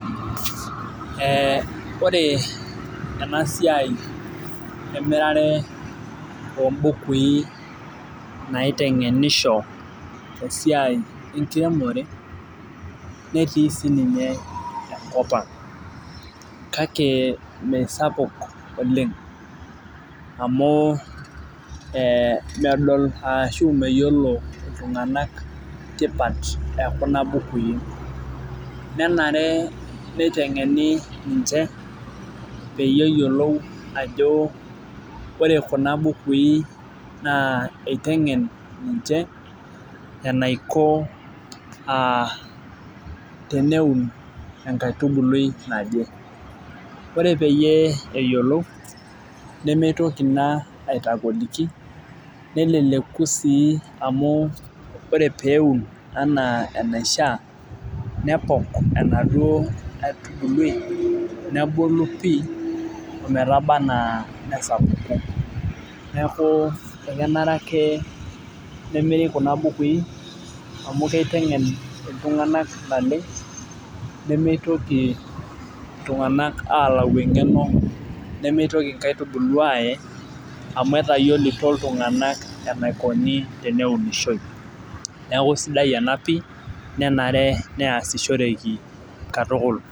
Ee ore enasiai emirare ombukui naitengenisho esiai enkiremore netii sininye enkop ang kake mesapuk oleng amu e medol ashu meyiolo ltunganak tipat ekunabukui nenare nitengeni ninche peyiolou ajo ore kuna bukui itengen ninche enaiko tenetum enkaitubului naje ore ekintoki ena aitogoliki neleleku si amu ore peun ana enaisha nepok enaduo aitubului nebulu pii metabaa ana nesapuku neaku ekenare ake nemiiri kuna bukui amu kitengen ltunganak naleng nimitoki ltunganak alau engeno nemitoki nkaitubulu aye amu etayioloto ltunganak eniko peunishoi neaku sidai ena pii nenare neasishoreki katukul.